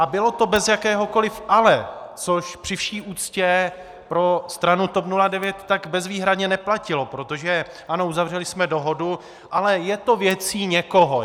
A bylo to bez jakéhokoli "ale", což při vší úctě pro stranu TOP 09 tak bezvýhradně neplatilo, protože ano, uzavřeli jsme dohodu, ale je to věcí někoho.